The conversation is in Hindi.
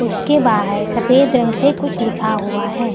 उसके बाहर सफेद रंग से कुछ लिखा हुआ है।